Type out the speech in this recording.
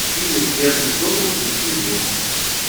финист ясный сокол включи мне